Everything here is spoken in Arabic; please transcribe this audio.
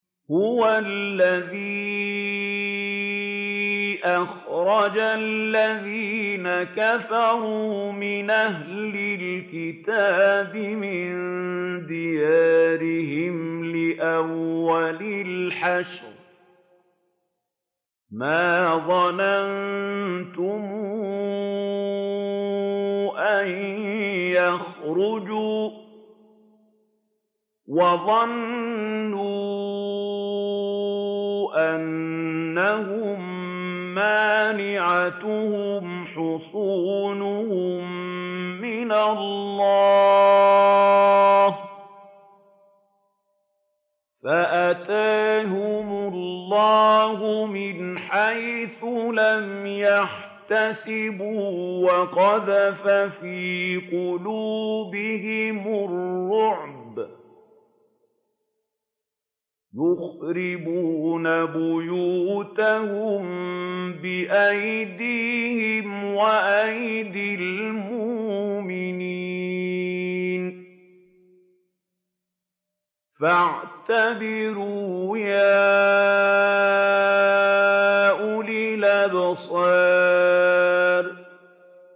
هُوَ الَّذِي أَخْرَجَ الَّذِينَ كَفَرُوا مِنْ أَهْلِ الْكِتَابِ مِن دِيَارِهِمْ لِأَوَّلِ الْحَشْرِ ۚ مَا ظَنَنتُمْ أَن يَخْرُجُوا ۖ وَظَنُّوا أَنَّهُم مَّانِعَتُهُمْ حُصُونُهُم مِّنَ اللَّهِ فَأَتَاهُمُ اللَّهُ مِنْ حَيْثُ لَمْ يَحْتَسِبُوا ۖ وَقَذَفَ فِي قُلُوبِهِمُ الرُّعْبَ ۚ يُخْرِبُونَ بُيُوتَهُم بِأَيْدِيهِمْ وَأَيْدِي الْمُؤْمِنِينَ فَاعْتَبِرُوا يَا أُولِي الْأَبْصَارِ